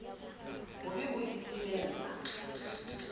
bo be bo o timella